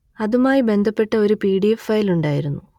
അതുമായി ബന്ധപ്പെട്ട ഒരു പി ഡി എഫ് ഫയൽ ഉണ്ടായിരുന്നു